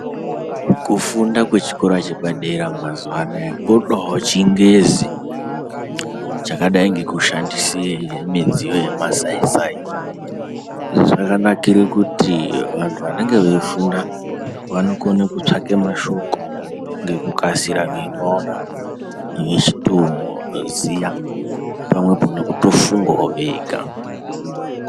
Kufunda kwechikora chepadera mazuwa anaya, kodawo chiNgezi chakadai ngekushandise midziyo yemasai sai. Izvi zvakanakire kuti vantu vanenge veifunda vanokone kutsvake mashoko ngekukasira veimaona vechitoziya pamwepo nekutofunga ega.